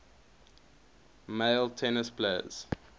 male tennis players